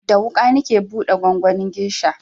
Da wuƙa nake buɗe gwangwanin gesha